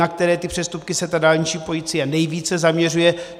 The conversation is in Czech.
Na které ty přestupky se ta dálniční policie nejvíce zaměřuje.